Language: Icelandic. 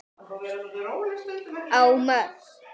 á Mörk.